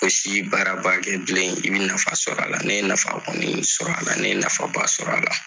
O si baaraba kɛ bilen i bɛ nafa sɔrɔ a la, ne ye nafa kɔni sɔrɔ a la, ne ye nafaba sɔrɔ a la.